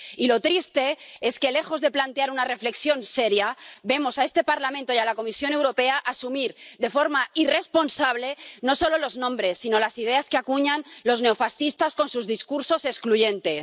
Y lo triste es que, lejos de plantear una reflexión seria, vemos a este Parlamento y a la Comisión Europea asumir de forma irresponsable, no solo los nombres, sino las ideas que acuñan los neofascistas con sus discursos excluyentes.